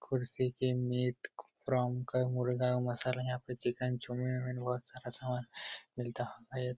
कुर्सी के नेट फ्रॉम मुर्गा मसाला यहाँ पे चिकन बहोत सारा समान मिलता होगा ।